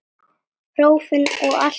Prófin og allt samana.